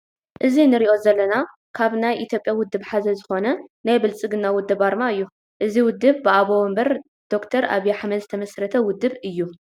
እዚ እንርእዮ ዘለና ካብ ናይ ኢትዮጵያ ውድበ ሓደ ዝኮነ ናይ ብልፅግና ውድብ ኣርማ እዩ። እዚ ውደብ ብኣቦ ወንበር ደ/ር ኣብይ ኣሕመድ ዝተመስረተ ውደብ እዩ።